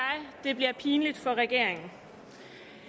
det bliver pinligt for regeringen